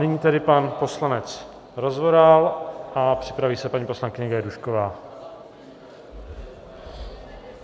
Nyní tedy pan poslanec Rozvoral a připraví se paní poslankyně Gajdůšková.